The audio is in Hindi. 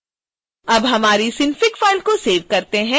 अब हमारी synfig फ़ाइल को सेव करते हैं